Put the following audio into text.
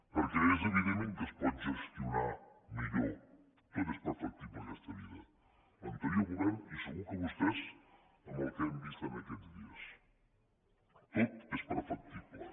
perquè és evident que es pot gestionar millor tot és perfectible en aquesta vida l’anterior govern i segur que vostès amb el que hem vist en aquests dies tot és perfectible